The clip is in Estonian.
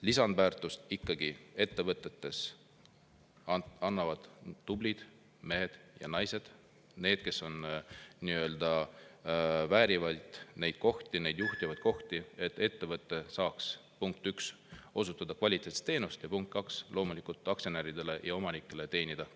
Lisandväärtust ettevõtetes ikkagi tublid mehed ja naised, need, kes väärivad neid kohti, neid juhtivaid kohti, et ettevõte saaks, punkt üks, osutada kvaliteetset teenust, ja punkt kaks, aktsionäridele ja omanikele kasumit teenida.